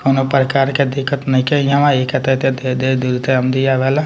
कउनो प्रकार के दिक्कत नइखे हियाँ एहि दूर से आमदीआ वाला।